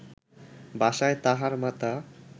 বাসায় তাঁহার মাতা